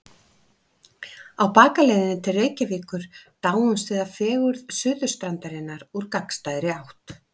Á bakaleiðinni til Reykjavíkur dáumst við að fegurð Suðurstrandarinnar úr gagnstæðri átt.